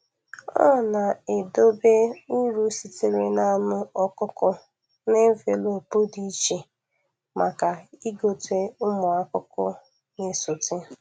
Ọ na-edobe uru sitere n’anụ ọkụkọ na envelopu dị iche maka ịgote ụmụ ọkụkọ na-esote.